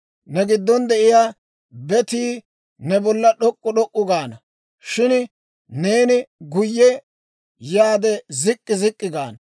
«Ne giddon de'iyaa betii ne bolla d'ok'k'u d'ok'k'u gaana; shin neeni guyye yaade zik'k'i zik'k'i gaana.